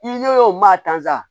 I ɲɛ o maa tansa